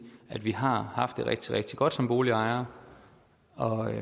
at vi har haft det rigtig rigtig godt som boligejere og at